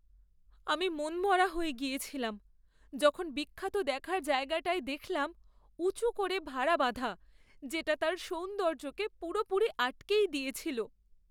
আমি মনমরা হয়ে গেছিলাম যখন বিখ্যাত দেখার জায়গাটায় দেখলাম উঁচু করে ভারা বাঁধা, যেটা তার সৌন্দর্যকে পুরোপুরি আটকেই দিয়েছিল।